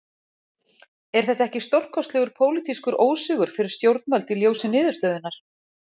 Er þetta ekki stórkostlegur pólitískur ósigur fyrir stjórnvöld í ljósi niðurstöðunnar?